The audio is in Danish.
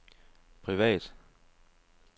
privat